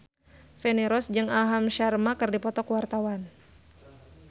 Feni Rose jeung Aham Sharma keur dipoto ku wartawan